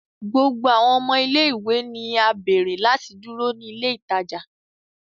Gbogbo awọn ọmọ ile-iwe ni a beere lati duro ni ile itaja